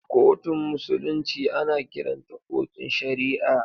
Kotun musulunci ana kiranta kotun shari'a.